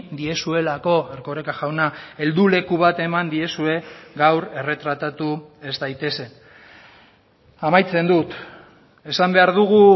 diezuelako erkoreka jauna helduleku bat eman diezue gaur erretratatu ez daitezen amaitzen dut esan behar dugu